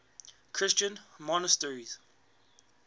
christian monasteries